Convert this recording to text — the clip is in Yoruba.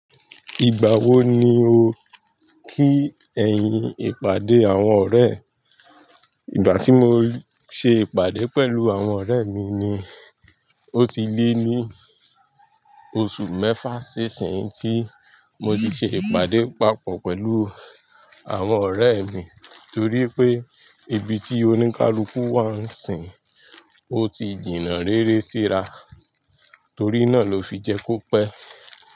Ìgbà wo ni o kí ẹ̀yin ìpàdé àwọn ọ̀rẹ́? Ìgbà tí mo ṣe ìpàdé pẹ̀lú àwọn ọ̀rẹ́ mi ni. Ó ti lé ní oṣù mẹ́fà sí ìsinyìí tí mo ti ṣe ìpàdé papọ̀ pẹ̀lú àwọn ọ̀rẹ́ mi torí pé ibi tí oníkálukú wá ń sìn. Ó ti jìnnà rere síra, torí náà ló fi jẹ́ kó pẹ́